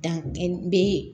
Danbe